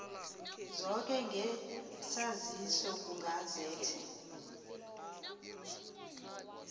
zoke ngesaziso kugazethe